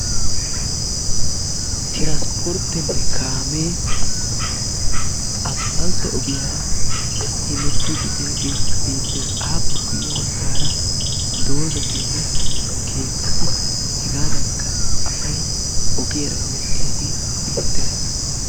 tiransporteenne kaamee asphalte ogiyaara hemetiidi diyagee beetees. ape guye bagaara dozzatinne keettati hegaadankka asay ogiyara hemmettiyage beetees.